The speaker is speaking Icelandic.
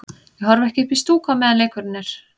Ég horfi ekki upp í stúku á meðan leikurinn er.